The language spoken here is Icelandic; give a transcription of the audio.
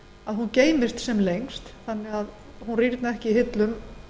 að hún geymist sem lengst þannig að hún rýrni ekki í hillum